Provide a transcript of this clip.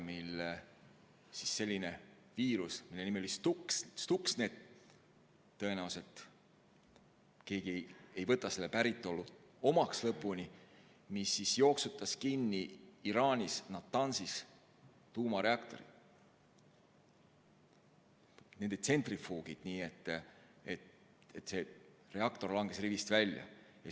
Nimelt, siis oli selline viirus, mille nimi oli Stuxnet – tõenäoliselt ei võta keegi selle päritolu lõpuni omaks – ja mis jooksutas Iraanis Natanzis kinni tuumareaktori, õigemini tsentrifuugid, nii et reaktor langes rivist välja.